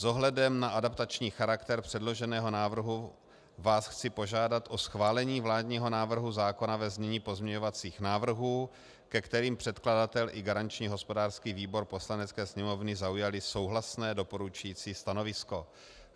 S ohledem na adaptační charakter předloženého návrhu vás chci požádat o schválení vládního návrhu zákona ve znění pozměňovacích návrhů, ke kterým předkladatel i garanční hospodářský výbor Poslanecké sněmovny zaujali souhlasné doporučující stanovisko.